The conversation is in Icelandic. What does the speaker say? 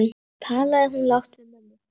Svo talaði hún lágt við mömmu.